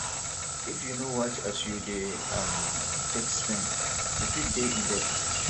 if yu no watch as yu dey um take spend yu fit dey in debt